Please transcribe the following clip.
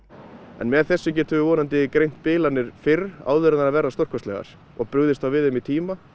með þessum getum við vonandi greint bilanir fyrr áður en þær verða stórkostlegar og brugðist þá við þeim í tíma